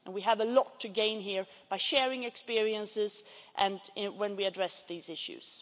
We have a lot to gain here by sharing experiences when we address these issues.